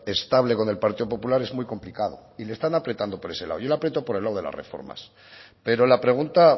estable e con el partido popular es muy complicado y le están apretando por ese lado yo le aprieto por el lado de las reformas pero la pregunta